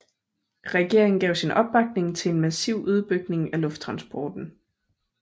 Regeringen gav sin opbakning til en massiv udbygning af lufttransporten